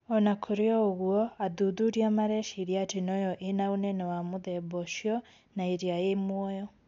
Ona Kũrĩ ũguo athuthuria mareciria ati noyo ĩna ũnene wa mũthemba ũcio na iria ĩĩ muoyo